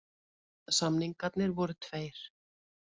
Samningarnir voru tveir